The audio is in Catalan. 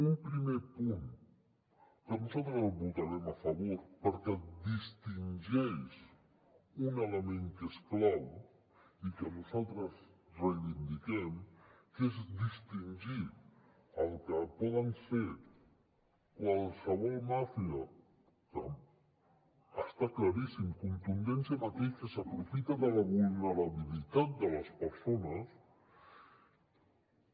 un primer punt que nosaltres hi votarem a favor perquè distingeix un element que és clau i que nosaltres reivindiquem que és distingir el que pot ser qualsevol màfia que està claríssim contundència amb aquell que s’aprofita de la vulnerabilitat de les persones